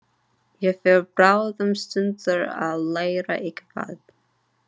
Ég fer bráðum suður að læra eitthvað.